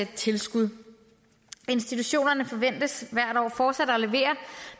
tilskud institutionerne forventes hvert år fortsat at levere